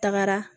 Tagara